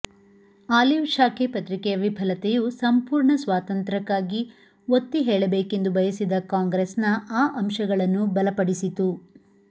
olive ಶಾಖೆ ಪತ್ರಿಕೆಯ ವಿಫಲತೆಯು ಸಂಪೂರ್ಣ ಸ್ವಾತಂತ್ರ್ಯಕ್ಕಾಗಿ ಒತ್ತಿಹೇಳಬೇಕೆಂದು ಬಯಸಿದ ಕಾಂಗ್ರೆಸ್ನ ಆ ಅಂಶಗಳನ್ನು ಬಲಪಡಿಸಿತು